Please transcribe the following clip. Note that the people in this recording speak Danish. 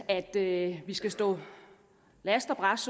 at vi skal stå last og brast